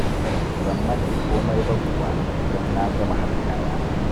Ban manta komai ba kuwa don na gama haɗa kayana.